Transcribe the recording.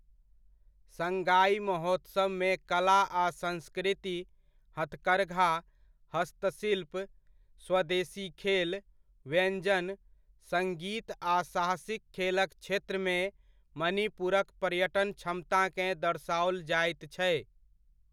Shanghai महोत्सवमे कला आ संस्कृति, हथकरघा, हस्तशिल्प, स्वदेशी खेल, व्यञ्जन, सङ्गीत आ साहसिक खेलक क्षेत्रमे मणिपुरक पर्यटन क्षमताकेँ दर्शाओल जाइत छै।